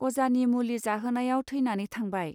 अजानि मुलि जाहोनायाव थैनानै थांबाय.